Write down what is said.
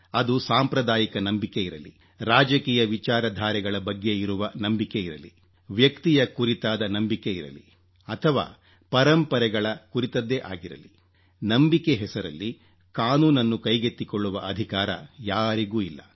ಅದು ಸಾಂಪ್ರದಾಯಿಕ ನಂಬಿಕೆ ಇರಲಿ ರಾಜಕೀಯ ವಿಚಾರಧಾರೆಗಳ ಬಗ್ಗೆ ಇರುವ ನಂಬಿಕೆ ಇರಲಿ ವ್ಯಕ್ತಿಯ ಕುರಿತಾದ ನಂಬಿಕೆ ಇರಲಿ ಅಥವಾ ಪರಂಪರೆಗಳ ಕುರಿತದ್ದೇ ಆಗಿರಲಿ ನಂಬಿಕೆ ಹೆಸರಲ್ಲಿ ಕಾನೂನನ್ನು ಕೈಗೆತ್ತಿಕೊಳ್ಳುವ ಅಧಿಕಾರ ಯಾರಿಗೂ ಇಲ್ಲ